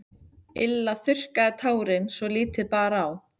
Lilla þurrkaði tárin svo lítið bar á.